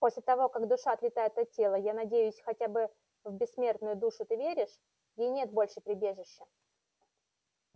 после того как душа отлетает от тела я надеюсь хотя бы в бессмертную душу ты веришь ей нет больше прибежища